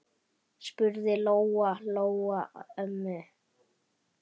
spurði Lóa-Lóa ömmu.